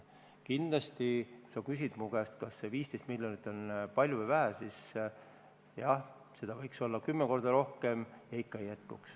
Kui sa küsid mu käest, kas 15 miljonit on palju või vähe, siis jah, seda võiks olla kümme korda rohkem ja ikka ei jätkuks.